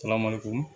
Ala ma ko